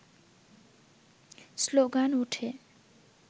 slogan ওঠে